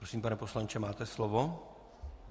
Prosím, pane poslanče, máte slovo.